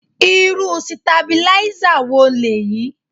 Irú Sitabílísà wo lèyí?